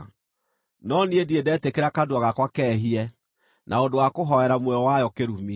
no niĩ ndirĩ ndetĩkĩra kanua gakwa keehie na ũndũ wa kũhoera muoyo wayo kĩrumi,